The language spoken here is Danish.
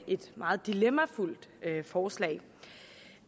et meget dilemmafyldt forslag